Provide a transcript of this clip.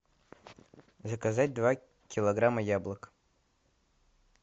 заказать два килограмма яблок